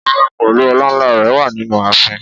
Ọba pèlú ọlà ńlá rè wà nínú àfin